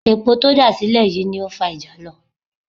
Epo tó dà sílẹ̀ yìí ló ń fa ìjàlọ